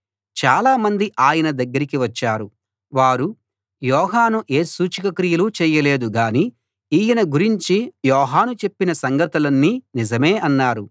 చాలా మంది ఆయన దగ్గరికి వచ్చారు వారు యోహాను ఏ సూచక క్రియలూ చేయలేదు గాని ఈయన గురించి యోహాను చెప్పిన సంగతులన్నీ నిజమే అన్నారు